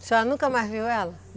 O senhora nunca mais a viu?